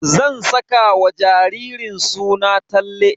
Zan saka wa jaririn suna Talle.